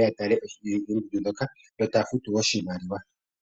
yatale woo oondundu ndhoka yo taya futu oshimaliwa.